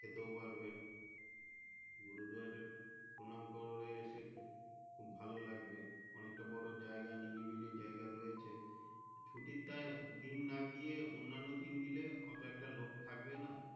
খেতেও পারবে গুরুদুয়ারে প্রণাম করারও এসে খুব ভালো লাগবে অনেকটা খুব বোরো জায়গা নিরিবিলি জায়গা রয়েছে ছুটির টা দিন না গিয়ে অনন্যা দিন গিয়ে এত একটা লোক থাকবে না।